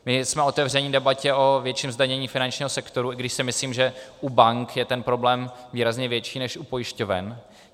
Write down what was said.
My jsme otevřeni debatě o větším zdanění finančního sektoru, i když si myslím, že u bank je ten problém výrazně větší než u pojišťoven.